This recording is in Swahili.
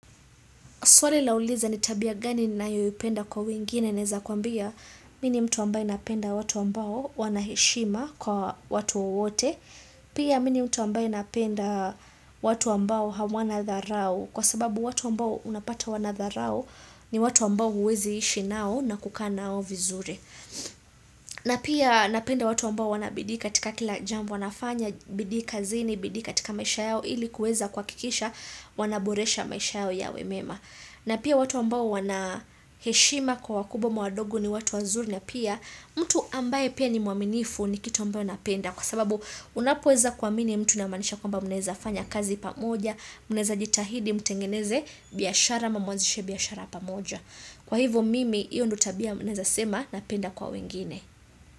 Swali lauliza ni tabia gani ninayoipenda kwa wengine naeza kuambia mi ni mtu ambaye napenda watu ambao wanaheshima kwa watu wote. Pia mi ni mtu ambaye napenda watu ambao hawana dharao kwa sababu watu ambao unapata wanadharao ni watu ambao huwezi ishi nao na kukaa na nao vizuri. Na pia napenda watu ambao wana bidii katika kila jambo wanafanya, bidii kazini, bidii katika maisha yao ili kueza kuhakikisha wanaboresha maisha yao yawe mema. Na pia watu ambao wanaheshima kwa wakubwa ama wadogo ni watu wazuri na pia mtu ambaye pia ni muaminifu ni kitu ambao napenda kwa sababu unapoweza kuamini mtu inamaanisha kwamba mnaeza fanya kazi pamoja mnaeza jitahidi mtengeneze biashara ama mwanzishe biashara pamoja kwa hivo mimi hiyo ndio tabia naeza sema napenda kwa wengine.